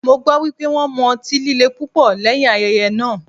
Mo gbọ́ wípé wón mu ọtí líle púpọ̀ lẹ́yìn ayẹyẹ náà.